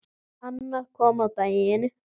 Annað kom á daginn.